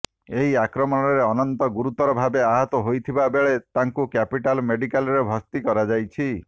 ଏହି ଆକ୍ରମଣରେ ଅନନ୍ତ ଗୁରୁତର ଭାବେ ଆହତ ହୋଇଥିବା ବେଳେ ତାଙ୍କୁ କ୍ୟାପିଟାଲ ମେଡିକାଲରେ ଭର୍ତ୍ତି କରାଯାଇଛି